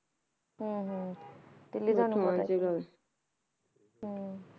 ਹੁੰ ਹੁੰ ਸਾਨੂੰ ਆਉਣ ਚ ਲੱਗ ਹੁੰ